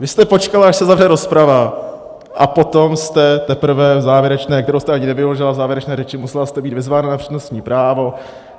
Vy jste počkala, až se zavře rozprava, a potom jste teprve v závěrečné, kterou jste ani nevyužila, v závěrečné řeči, musela jste být vyzvána na přednostní právo.